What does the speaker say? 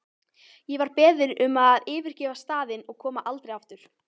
Ég var beðin um að yfirgefa staðinn og koma aldrei aftur.